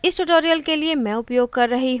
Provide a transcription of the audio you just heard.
इस tutorial के लिए मैं उपयोग कर रही हूँ